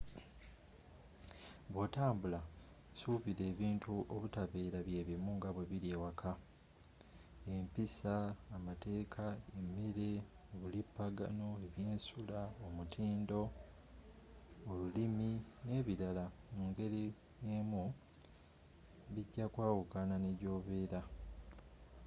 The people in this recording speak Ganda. bwotambula suubira ebintu obutabeera byebimu nga bwebiri ewaka”. empisa amateeka emere obulipagano ebyensula omutindo olulimi nebirala mungeri emu bijja kwawukanako nejobeera